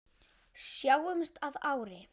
Sjáumst að ári.